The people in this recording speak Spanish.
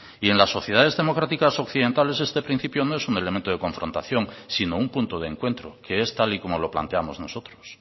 y en las sociedades democráticas occidentales este principio no es un elemento de confrontación sino un punto de encuentro que es tal y como lo planteamos nosotros